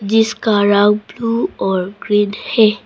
जिसका रंग ब्लू और ग्रीन है।